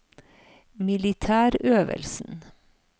militærøvelsen